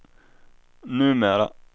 numera